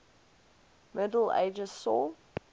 middle ages saw